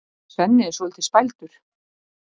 Svenni er svolítið spældur.